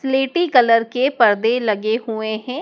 स्लेटी कलर के परदे लगे हुए हैं।